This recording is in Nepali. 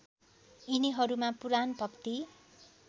यिनीहरूमा पुराण भक्ति